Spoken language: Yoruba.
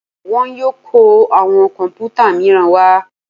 Wọ́n yóò kọ́ àwọn kọ̀m̀pútà míràn wá.